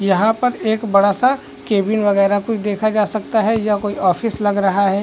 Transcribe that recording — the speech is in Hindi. यहाँ पर एक बड़ा सा कैबिन वगैरा कुछ देखा जा सकता है यह कोई ऑफिस लग रहा है।